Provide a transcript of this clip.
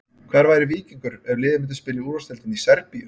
Hvar væri Víkingur ef liðið myndi spila í úrvalsdeildinni í Serbíu?